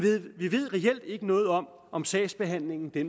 vi ved reelt ikke noget om om sagsbehandlingen bliver